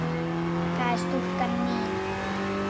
það er stúlkan mín.